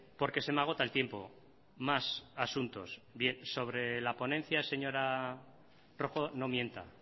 porque se me agota el tiempo más asuntos sobre la ponencia señora rojo no mienta